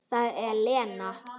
Það var Lena.